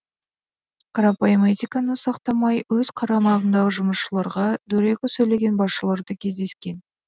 қарапайым этиканы сақтамай өз қарамағындағы жұмысшыларға дөрекі сөйлеген басшылар да кездескен